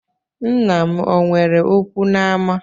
Nna m o nwere okwu n’ama?